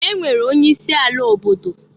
E nwere onye isi ala obodo.